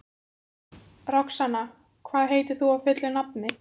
Roxanna, hvað heitir þú fullu nafni?